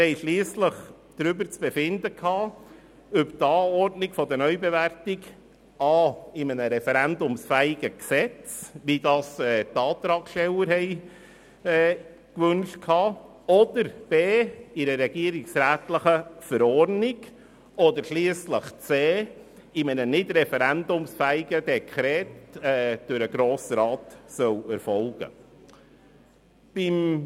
Wir hatten schliesslich darüber zu befinden, ob die Anordnung einer Neubewertung a) in einem referendumsfähigen Gesetz, wie dies die Antragsteller wünschten, oder b) in einer regierungsrätlichen Verordnung beziehungsweise c) in einem nicht referendumsfähigen Dekret durch den Grossen Rat erfolgen soll.